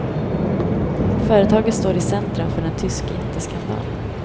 Företaget står i centrum för en tysk jätteskandal.